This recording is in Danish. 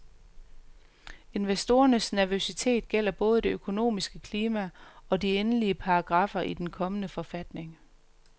Investorernes nervøsitet gælder både det økonomiske klima, og de endelige paragraffer i den kommende forfatning.